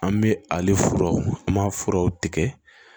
An bɛ ale furaw an b'a furaw tigɛ